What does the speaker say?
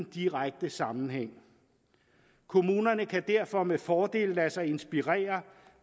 direkte sammenhæng kommunerne kan derfor med fordel lade sig inspirere